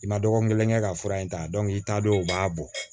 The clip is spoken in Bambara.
I ma dɔgɔkun kelen kɛ ka fura in ta i ta don u b'a bɔ